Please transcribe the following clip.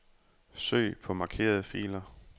Søg på markerede filer.